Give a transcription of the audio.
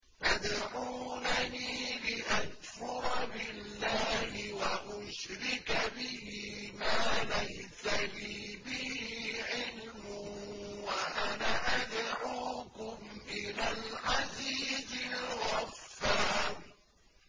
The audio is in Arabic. تَدْعُونَنِي لِأَكْفُرَ بِاللَّهِ وَأُشْرِكَ بِهِ مَا لَيْسَ لِي بِهِ عِلْمٌ وَأَنَا أَدْعُوكُمْ إِلَى الْعَزِيزِ الْغَفَّارِ